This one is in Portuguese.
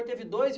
Teve dois